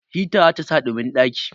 hita zata sa ɗumin ɗaki